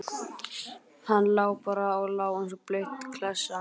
Hann lá bara og lá eins og blaut klessa.